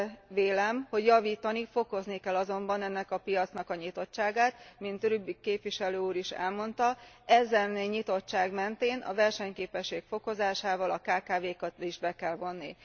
Úgy vélem, hogy javítani, fokozni kell azonban ennek a piacnak a nyitottságát, mint Rübig képviselő úr is elmondta, ezen nyitottság mentén a versenyképesség fokozásával a kkv kat is be kell vonni.